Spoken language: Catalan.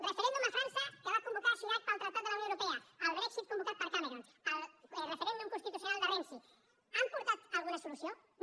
referèndum a frança que va convocar chirac pel tractat de la unió europea el brexit convocat per cameron el referèndum constitucional de renzi han portat alguna solució no